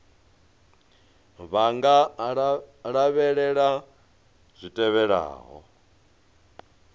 vha nga lavhelela zwi tevhelaho